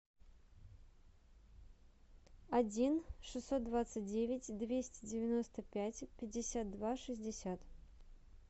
один шестьсот двадцать девять двести девяносто пять пятьдесят два шестьдесят